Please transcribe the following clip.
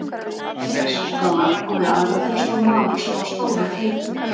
Það voru tvær pissuskálar og við aðra þeirra stóð maður sem var stór og feitur.